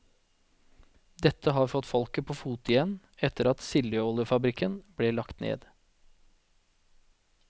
Dette har fått folket på fote igjen etter at sildoljefabrikken ble lagt ned.